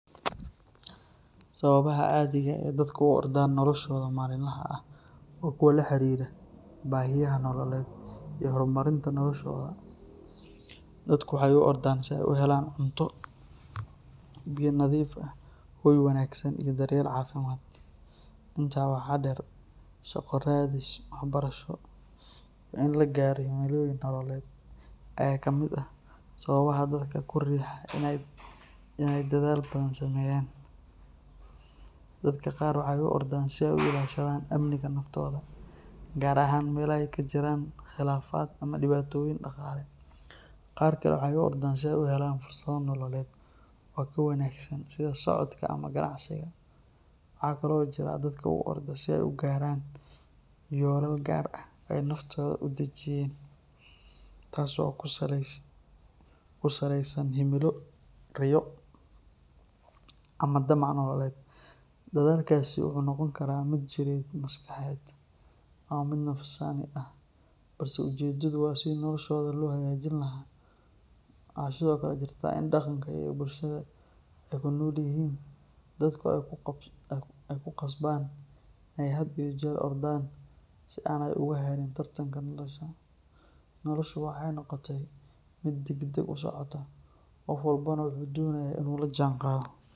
Sababaha caadiga ah ee dadka u ordaan noloshooda maalinlaha ah waa kuwo la xiriira baahiyaha nololeed iyo horumarinta noloshooda. Dadku waxay u ordaan si ay u helaan cunto, biyo nadiif ah, hoy wanaagsan, iyo daryeel caafimaad. Intaa waxaa dheer, shaqo raadis, waxbarasho, iyo in la gaaro himilooyin nololeed ayaa ka mid ah sababaha dadka ku riixa in ay dadaal badan sameeyaan. Dadka qaar waxay u ordaan si ay u ilaashadaan amniga naftooda, gaar ahaan meelaha ay ka jiraan khilaafaad ama dhibaatooyin dhaqaale. Qaar kale waxay u ordaan si ay u helaan fursado nololeed oo ka wanaagsan, sida socdaalka ama ganacsiga. Waxaa kale oo jira dadka u orda si ay u gaaraan yoolal gaar ah oo ay naftooda u dejiyeen, taas oo ku salaysan himilo, riyo, ama damac nololeed. Dadaalkaasi wuxuu noqon karaa mid jireed, maskaxeed, ama mid nafsaani ah, balse ujeedadu waa sidii noloshooda loo hagaajin lahaa. Waxaa sidoo kale jirta in dhaqanka iyo bulshada ay ku nool yihiin dadku ay ku qasbaan in ay had iyo jeer ordaan si aanay uga harin tartanka nolosha. Noloshu waxay noqotay mid degdeg u socota, qof walbana wuxuu doonayaa inuu la jaanqaado.